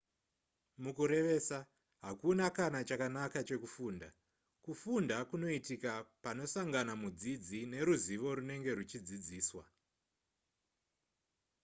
mukurevesa hakuna kana chakanaka chekufunda kufunda kunoitika panosangana mudzidzi neruzivo runenge ruchidzidziswa